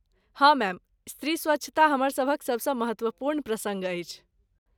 हँ, मैम, स्त्री स्वच्छता हमर सभक सबसँ महत्वपूर्ण प्रसङ्ग अछि।